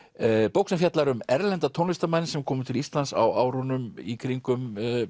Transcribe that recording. bók sem fjallar um erlenda tónlistarmenn sem komu til Íslands á árunum í kringum